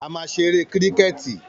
A máa ṣeré kíríkẹ̀tì